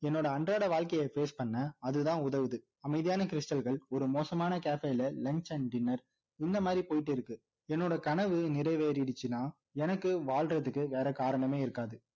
என்னோட அன்றாட வாழ்கைய face பண்ண அதுதான் உதவுது அமைதியான stal கள் ஒரு மோசமான cafe ல lunch and dinner இந்த மாதிரி போயிட்டு இருக்கு என்னோட கனவு நிறைவேறிடுச்சுனா எனக்கு வாழ்றதுக்கு வேற காரணமே இருக்காது